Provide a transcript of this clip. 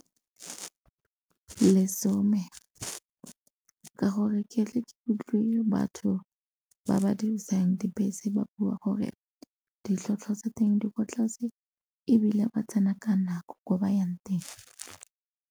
Lesome ka gore ke atle ke utlwe batho ba ba dirisang dibese ba bua gore ditlhatlhwa tsa teng di kwa tlase ebile ba tsena ka nako ko ba yang teng.